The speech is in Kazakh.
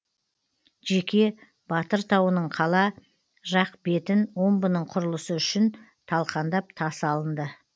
жеке батыр тауының қала жақ бетін омбының құрылысы үшін талқандап тас алынды